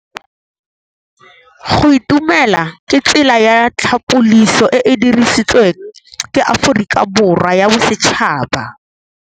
Go itumela ke tsela ya tlhapolisô e e dirisitsweng ke Aforika Borwa ya Bosetšhaba.